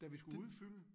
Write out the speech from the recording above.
Da vi skulle udfylde?